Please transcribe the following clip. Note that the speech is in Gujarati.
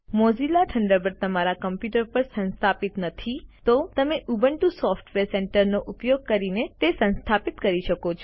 જો મોઝિલા થન્ડરબર્ડ તમારા કમ્પ્યુટર પર સંસ્થાપિત નથી તો તમે ઉબુન્ટુ સોફ્ટવેર સેન્ટર નો ઉપયોગ કરીને તેને સંસ્થાપિત કરી શકો છો